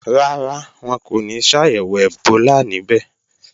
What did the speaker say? Rárá, wọn kò ní ṣàyẹ̀wò ẹ̀bólà níbẹ̀